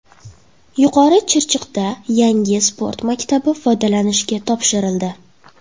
Yuqori Chirchiqda yangi sport maktabi foydalanishga topshirildi.